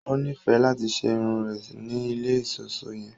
O nifẹ lati ṣe irun rẹ ni ilé iṣọṣọ yẹn